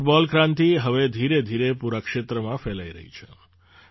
આ ફૂટબૉલ ક્રાંતિ હવે ધીરેધીરે પૂરા ક્ષેત્રમાં ફેલાઈ રહી છે